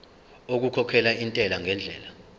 okukhokhela intela ngendlela